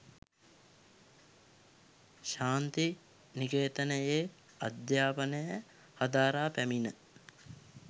ශාන්ති නිකේතනයේ අධ්‍යාපනය හදාරා පැමිණ